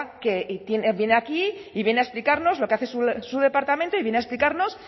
que viene aquí y viene a explicarnos lo que hace su departamento y viene a explicarnos